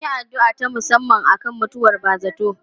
Mun yi addu'a ta musamman akan mutuwar ba zarto.